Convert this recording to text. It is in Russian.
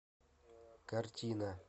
картина